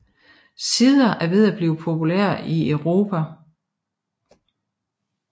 Cider er ved at blive populært i Europa